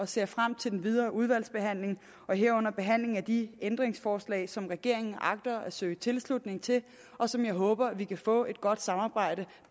ser frem til den videre udvalgsbehandling herunder behandlingen af de ændringsforslag som regeringen agter at søge tilslutning til og som jeg håber vi kan få et godt samarbejde